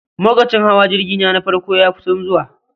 Lokacin hawa jirgi na, na farko ya kusan zuwa